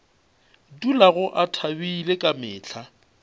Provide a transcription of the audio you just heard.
dulago a thabile ka mehla